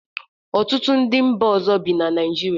Ọtụtụ ndị mba ọzọ bi na Naijiria